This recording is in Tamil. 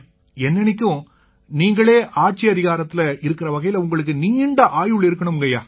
என்னென்னைக்கும் நீங்களே ஆட்சியதிகாரத்தில இருக்கற வகையில உங்களுக்கு நீண்ட ஆயுள் இருக்கணும்ங்கய்யா